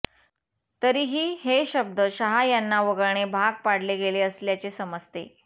तरीही हे शब्द शहा यांना वगळणे भाग पाडले गेले असल्याचे समजते